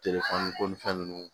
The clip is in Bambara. Telefɔni ko ni fɛn ninnu